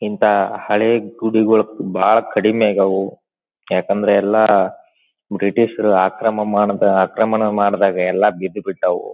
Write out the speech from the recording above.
ಇಂತಹ ಹಳೆ ಗುಡಿಗಳು ಬಹಳ ಕಡಿಮೆ ಆಗೇವು ಯಾಕಂದ್ರೆ ಎಲ್ಲಾ ಬ್ರಿಟಿಷರು ಆಕ್ರಮ ಆಕ್ರಮಣ ಮಾಡಿದಾಗ ಎಲ್ಲಾ ಬಿದ್ ಬಿಟ್ಟವು.